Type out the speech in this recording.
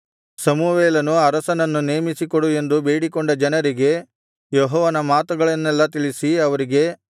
ಸಮುವೇಲನು ಅರಸನನ್ನು ನೇಮಿಸಿಕೊಡು ಎಂದು ಬೇಡಿಕೊಂಡ ಜನರಿಗೆ ಯೆಹೋವನ ಮಾತುಗಳನ್ನೆಲ್ಲಾ ತಿಳಿಸಿ ಅವರಿಗೆ